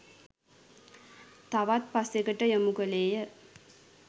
තවත් පසෙකට යොමු කළේය.